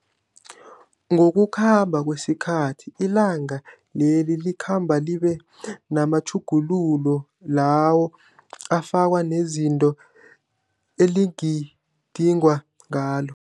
Ngokukhamba kwesikhathi ilanga leli lakhamba liba namatjhugululo lawo afakwa nezinto eligidingwa ngalo.